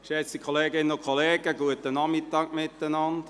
Geschätzte Kolleginnen und Kollegen, guten Nachmittag zusammen.